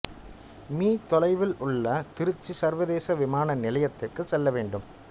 me தொலைவில் உள்ள திருச்சி சர்வதேச விமான நிலையத்திற்கு செல்ல வேண்டும்